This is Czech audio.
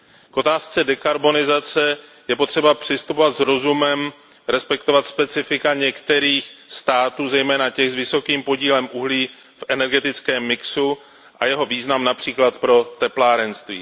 K otázce dekarbonizace je potřeba přistupovat s rozumem, respektovat specifika některých států, zejména těch s vysokým podílem uhlí v energetickém mixu, a jeho význam například pro teplárenství.